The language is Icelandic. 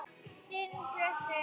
Þinn Bjössi.